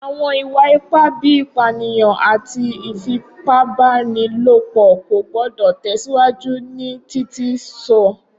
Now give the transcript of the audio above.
Awọn iwa-ipa bii ipaniyan ati ifipabanilopo ko gbọdọ tẹsiwaju ni Titi sọ.